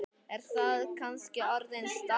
Er það kannski orðin staðan?